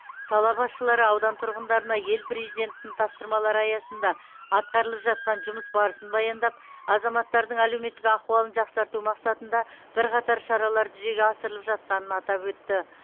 сала басшылары аудан тұрғындарына ел президентінің тапсырмалары аясында атқарылып жатқан жұмыс барысын баяндап азаматтардың әлеуметтік ахуалын жақсарту мақсатында бірқатар шаралар жүзеге асырылып жатқанын атап өтті